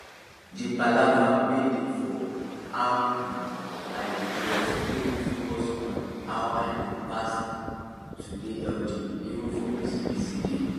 the palaver wey dey for how um i dey dress make me focus on how i look pass to dey healthy even for busy busy days